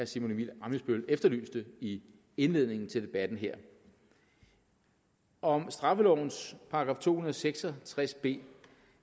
simon emil ammitzbøll efterlyste i indledningen til debatten her om straffelovens § to hundrede og seks og tres b